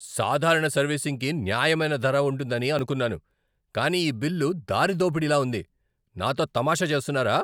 సాధారణ సర్వీసింగ్కి న్యాయమైన ధర ఉంటుందని అనుకున్నాను, కానీ ఈ బిల్లు దారిదోపిడిలా ఉంది! నాతో తమాషా చేస్తున్నారా?